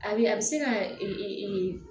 A bɛ a bɛ se ka ee